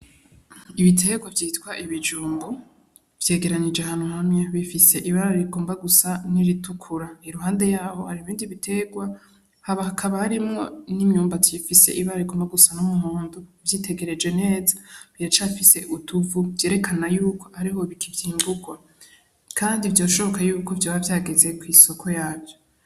Ibitegwa vyitwa ibijumbu, vyegeranije ahantu hamwe bifise ibara rigomba gusa n'iritukura, iruhande yaho hari ibindi bitegwa, hakaba harimwo n'imyumbati ifise ibara rigomba gusa n'umuhondo, uvyitegereje neza biracafise utuvu vyerekana yuko ahariho bikicimburwa, kandi vyoshoboka yuko vyoba vyageze kw'isoko yavyo.